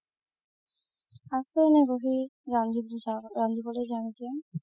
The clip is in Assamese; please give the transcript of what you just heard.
আছো এনে বহি ‌ ৰানংজিৱলৈ যাম এতিয়া